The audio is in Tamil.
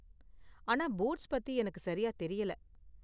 ஆனா பூட்ஸ் பத்தி எனக்கு சரியா தெரியல.